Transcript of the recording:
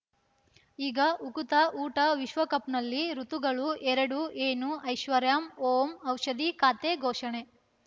ಈಗ ಉಕುತ ಊಟ ವಿಶ್ವಕಪ್‌ನಲ್ಲಿ ಋತುಗಳು ಎರಡು ಏನು ಐಶ್ವರ್ಯಾಂ ಓಂ ಔಷಧಿ ಖಾತೆ ಘೋಷಣೆ